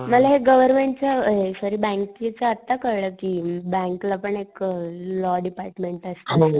मला हे गव्हर्मेंट च हे सॉरी बँकेच आत्ता कळलं कि अ बँकला पण एक अ लॉ डिपार्टमेन्ट असत असं.